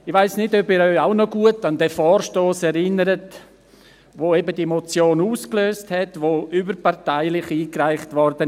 Ich weiss nicht, ob Sie sich noch gut an den Vorstoss erinnern, welcher diese Motion auslöste und überparteilich einigereicht wurde.